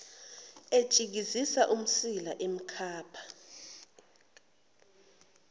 etshikizisa umsila emkhapha